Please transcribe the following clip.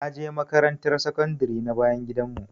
Naje makaranta sakandare na bayan gidan mu